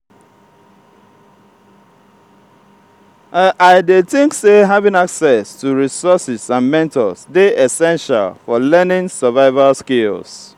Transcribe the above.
i dey think say having access to resources and mentors dey essential for learning survival skills.